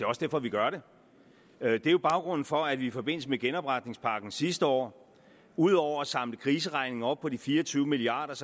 også derfor vi gør det det er baggrunden for at vi i forbindelse med genopretningspakken sidste år ud over at samle kriseregningen op på fire og tyve milliard